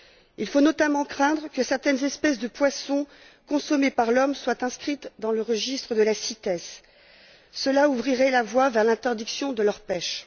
Il faut notamment craindre que certaines espèces de poissons consommées par l'homme soient inscrites dans le registre de la CITES, ce qui ouvrirait la voie à l'interdiction de leur pêche.